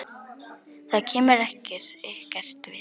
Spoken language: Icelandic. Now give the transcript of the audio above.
Það kemur ykkur ekkert við.